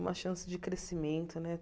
Uma chance de crescimento, né?